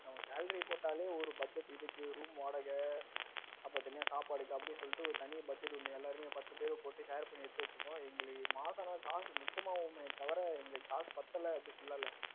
நம்ம salary பார்த்தாலே ஒரு budget இருக்கு இதுக்கு room வாடகை அப்புறம் தனியா சாப்பாடு அப்படின்னு சொல்லிட்டு ஒரு தனி budget ஒன்னு எல்லாருமே பத்து பேர் போட்டு share பண்ணி எடுத்து வச்சுப்போம் மாசம் ஆனா காசு மிச்சம் ஆகுமே தவிர இங்க காசு பத்தல அப்படின்னு சொல்லால.